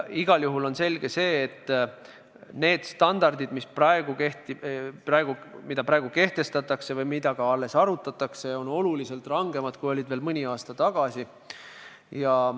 Igal juhul on selge see, et need standardid, mida praegu tahetakse kehtestada või mida ka alles arutatakse, on oluliselt rangemad, kui olid veel mõni aasta tagasi.